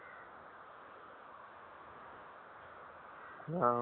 படம் பாதச்சா பொன்னியன் செல்வன்